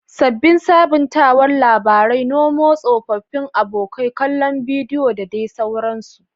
Sabbin sabuntawar labarai, Nemo tsofaffin abokai, kallon bidiyo da sauransu.